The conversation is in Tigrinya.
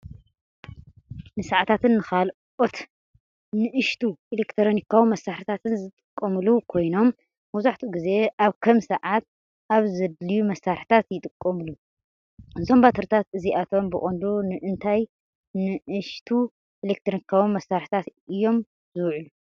ንሰዓታትን ንኻልኦት ንኣሽቱ ኤለክትሮኒካዊ መሳርሒታትን ዝጥቀሙሉ ኮይኖም፡ መብዛሕትኡ ግዜ ኣብ ከም ሰዓት፡ ኣብ ዝደልዩ መሳርሒታት ይጥቀሙ። እዞም ባትሪታት እዚኣቶም ብቐንዱ ንእንታይ ንኣሽቱ ኤለክትሮኒካዊ መሳርሒታት እዮም ዚውዕሉ፧